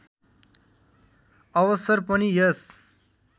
अवसर पनि यस